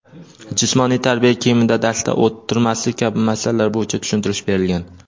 jismoniy tarbiya kiyimida darsda o‘tirmaslik kabi masalalar bo‘yicha tushuntirish berilgan.